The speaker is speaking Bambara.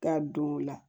Ka don o la